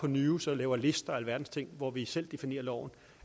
news og laver lister og alverdens ting hvor vi selv definerer loven